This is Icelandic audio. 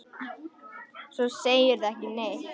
Svo segirðu ekki neitt.